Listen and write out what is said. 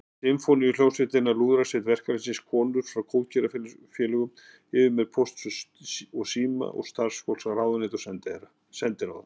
Sinfóníuhljómsveitina, Lúðrasveit verkalýðsins, konur frá góðgerðarfélögum, yfirmenn Pósts og síma og starfsfólk ráðuneyta og sendiráða.